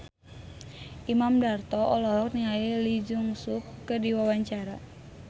Imam Darto olohok ningali Lee Jeong Suk keur diwawancara